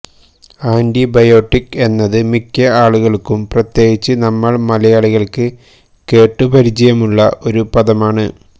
antibiotic എന്നത് മിക്ക ആളുകള്ക്കും പ്രത്യേകിച്ച് നമ്മള് മലയാളികള്ക്ക് കേട്ട് പരിചയമുള്ള ഒരു പദമാണ്